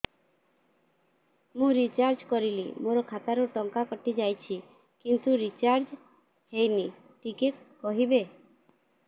ମୁ ରିଚାର୍ଜ କରିଲି ମୋର ଖାତା ରୁ ଟଙ୍କା କଟି ଯାଇଛି କିନ୍ତୁ ରିଚାର୍ଜ ହେଇନି ଟିକେ କହିବେ